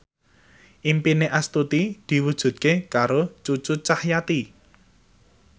impine Astuti diwujudke karo Cucu Cahyati